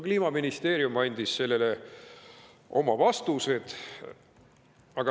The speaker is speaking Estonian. " Kliimaministeerium andis selle kohta oma vastused.